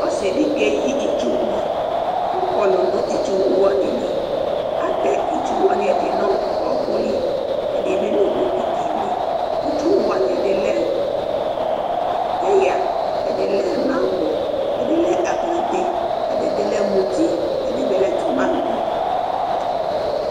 ɔse di keyi itsu wo ko ɔkɔlo no itsu wo wani li atɛ itsu wo wani ɛdi no ɔko li ɛdi bi no bokiti li itsu wo wani ɛdi lɛ peya ɛdi lɛ manŋɔ ɛdi lɛ aklate ɛdi bi lɛ muti ɛdi bi lɛ tomati